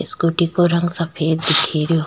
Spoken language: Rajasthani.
स्कूटी को रंग सफ़ेद दिखे रो।